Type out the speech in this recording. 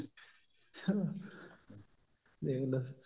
ਦੇਖਲੋ